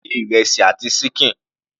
Fún mi ní ìrẹsì àti ṣíkìn.